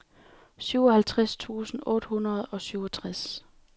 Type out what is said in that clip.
syvoghalvtreds tusind otte hundrede og syvogtres